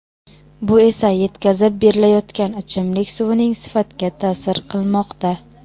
Bu esa yetkazib berilayotgan ichimlik suvining sifatga ta’sir qilmoqda.